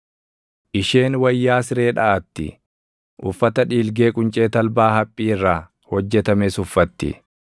Isheen wayyaa siree dhaʼatti; uffata dhiilgee quncee talbaa haphii irraa // hojjetames uffatti.